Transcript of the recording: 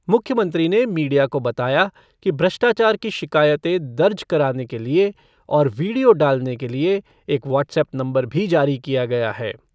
मुख्यमंत्री ने मीडिया को बतया कि भ्रष्टाचार की शिकायते दर्ज कराने के लिये और वीडियो डालने के लिए एक वाट्सएप्प नंवबर भी जारी किया गया है।